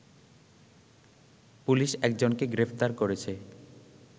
police একজনকে গ্রেপ্তার করেছে